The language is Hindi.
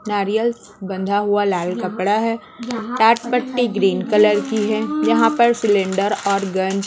नारियल बंधा हुआ लाल कपड़ा है टाट पट्टी की है यहा पर सिलेंडर और गन --